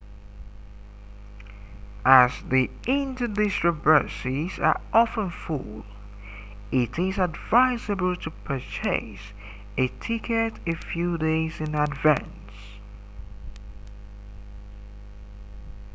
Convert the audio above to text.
as the inter-district buses are often full it is advisable to purchase a ticket a few days in advance